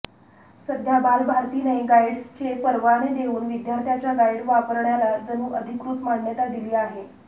सध्या बालभारतीने गाईडस्चे परवाने देऊन विद्यार्थ्याच्या गाईड वापरण्याला जणू अधिकृत मान्यता दिली आहे